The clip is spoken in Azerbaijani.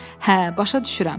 “Hə, başa düşürəm.”